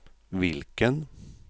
vilken